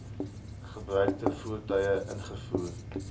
gebruikte voertuie ingevoer